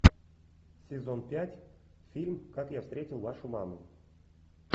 сезон пять фильм как я встретил вашу маму